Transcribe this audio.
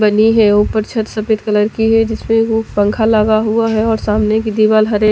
बनी है ऊपर छत सफेद कलर की है जिसमें वो पंखा लगा हुआ है और सामने की दिवाल हरे--